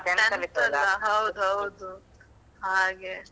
Tenth ಅಲಾ ಹೌದೌದು ಹಾಗೆ.